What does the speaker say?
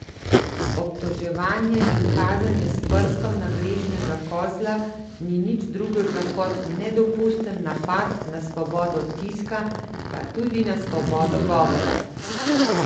Obtoževanje in kazanje s prstom na grešnega kozla ni nič drugega kot nedopusten napad na svobodo tiska, pa tudi na svobodo govora!